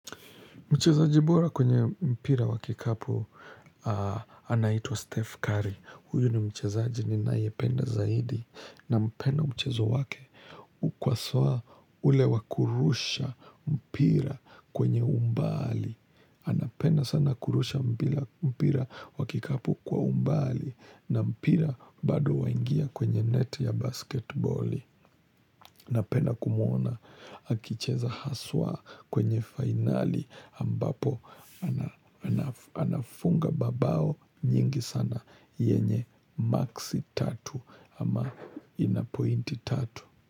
Mchezaji bora kwenye mpira wa kikapu anaitwa Steph Curry. Huyu ni mchezaji ninayependa zaidi nampenda mchezo wake. Huku haswa ule wa kurusha mpira kwenye umbali. Anapenda sana kurusha mpira wa kikapu kwa umbali na mpira bado waingia kwenye neti ya basketboli. Napena kumwona akicheza haswa kwenye finali ambapo anafunga mabao nyingi sana yenye maksi tatu ama ina pointi tatu.